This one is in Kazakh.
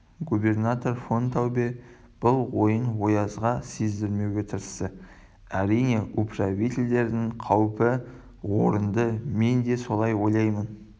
губернатор фон таубе бұл ойын оязға сездірмеуге тырысты әрине управительдердің қаупі орынды мен де солай ойлаймын